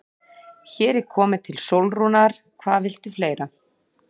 Hér er komið til Sólrúnar, hvað viltu fleira?